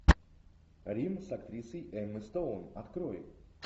рим с актрисой эммой стоун открой